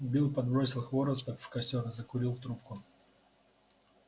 билл подбросил хвороста в костёр и закурил трубку